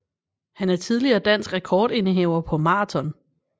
Han er tidligere dansk rekordindehaver på maraton